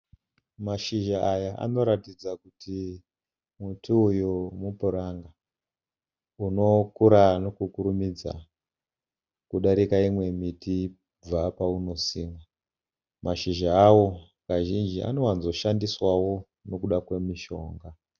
Mashizha aya anoratidza kuti muti uyu mupranga unokura nekukurumidza kudarika imwe miti kubva painosimwa. Mashizha awo kazhinji anowanzo shandiswawo nekuda kwemushonga.